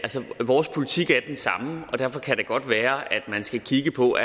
vores politik er den samme og derfor kan det godt være at man skal kigge på